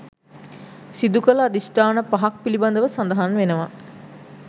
සිදුකළ අධිෂ්ඨාන පහක් පිළිබඳව සඳහන් වෙනවා.